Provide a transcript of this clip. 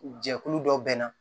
Jɛkulu dɔ bɛ na